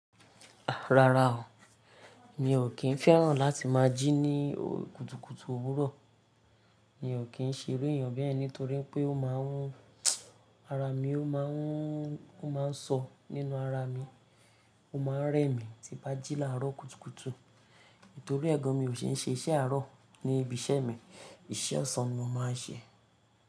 Rárá o, mi ò kí ń fẹ́ràn láti má jí ní òkutukutu òwúrọ̀. Mi ò kí ń ṣe iru èèyàn bẹ́ẹ̀ nítorí pé ó ma ń, ara mi ó ma ń, ó ma ń sọ nínú ara mi. Ó ma ń rẹ mí tí bá jí láàárọ̀ kùtùkùtù. Nítorí ẹ̀ gàn mi ò ṣe ń ṣe iṣẹ́ àárọ̀ ní ibi iṣẹ́ mi. Iṣẹ́ ọ̀sán ni mo má a ń ṣe.